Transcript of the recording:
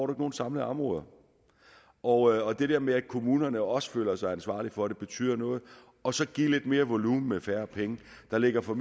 nogen samlede områder og det der med at kommunerne også føler sig ansvarlige for det betyder noget og så give lidt mere volumen med færre penge der ligger fra